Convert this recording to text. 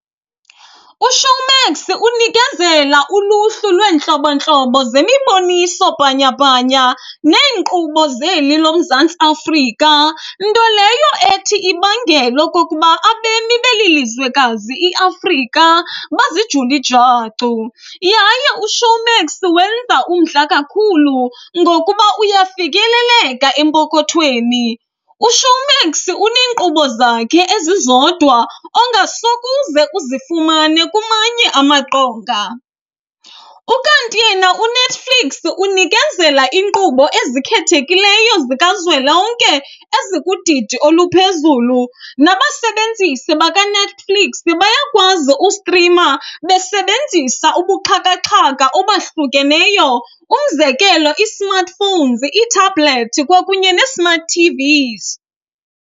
UShowmax unikezela uluhlu lwentlobo-ntlobo zemiboniso-bhanyabhanya neenkqubo zeli loMzantsi Afrika. Nto leyo ethi ibangele okokuba abemi beli lizwekazi iAfrika bazijule ijacu, yaye uShowmax wenza umdla kakhulu ngokuba uyafikeleleka empokothweni. UShowmax unenkqubo zakhe ezizodwa ongakusoze uzifumane kumanye amaqonga. Ukanti yena uNetflix unikezela iinkqubo ezikhethekileyo zikazwelonke ezikudidi oluphezulu nabasebenzisi bakaNetflix ke bayakwazi ustrima besebenzisa ubuxhakaxhaka obahlukeneyo, umzekelo i-smartphones, iithabhlethi kwakunye ne-smart TVs.